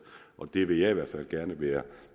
og det vil jeg i hvert fald gerne være